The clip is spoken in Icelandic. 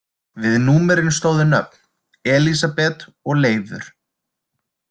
Við númerin stóðu nöfn: Elísabet og Leifur.